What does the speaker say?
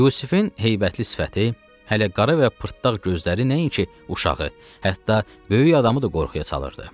Yusifin heybətli sifəti, hələ qara və pırdaq gözləri nəinki uşağı, hətta böyük adamı da qorxuya salırdı.